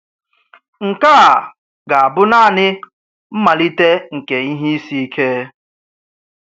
Nke a ga-abụ naanị mmalite nke ihe isi ike.